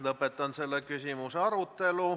Lõpetan selle küsimuse arutelu.